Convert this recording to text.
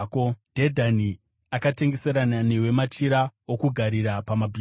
“ ‘Dhedhani akatengeserana newe machira okugarira pamabhiza.